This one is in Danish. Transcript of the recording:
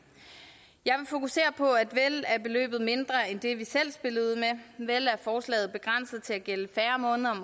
jeg vil fokusere på at vel er beløbet mindre end det vi selv spillede ud med vel er forslaget begrænset til at gælde færre måneder om